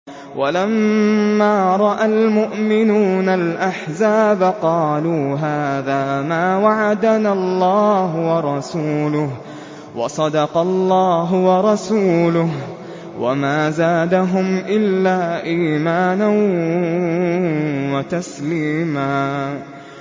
وَلَمَّا رَأَى الْمُؤْمِنُونَ الْأَحْزَابَ قَالُوا هَٰذَا مَا وَعَدَنَا اللَّهُ وَرَسُولُهُ وَصَدَقَ اللَّهُ وَرَسُولُهُ ۚ وَمَا زَادَهُمْ إِلَّا إِيمَانًا وَتَسْلِيمًا